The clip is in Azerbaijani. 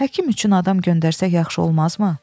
Həkim üçün adam göndərsək yaxşı olmazmı?